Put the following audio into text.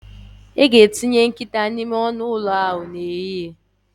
A ga-etinye nkịta n'ime ọnụ ụlọ ha n'ehihie